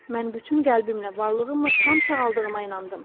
Mən bütün qəlbimlə varlığımla tam sağaldığıma inandım.